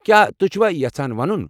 کیا تُہۍ چُھوا یژھان وَنُن؟